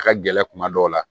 A ka gɛlɛn kuma dɔw la